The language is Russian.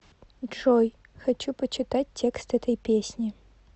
джой хочу почитать текст этой песни